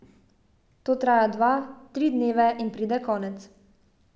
To traja dva, tri dneve in pride konec.